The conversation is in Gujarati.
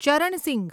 ચરણ સિંઘ